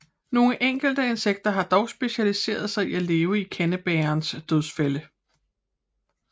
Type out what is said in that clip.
Nogle enkelte insekter har dog specialiseret sig i at leve i kandebærerens dødsfælder